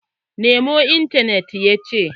Nemo intanet, ya ce!